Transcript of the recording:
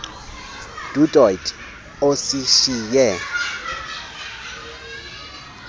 du toit osishiye